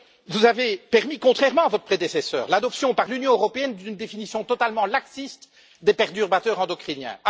Vous avez permis, contrairement à votre prédécesseur, l'adoption par l'Union européenne d'une définition totalement laxiste des perturbateurs endocriniens.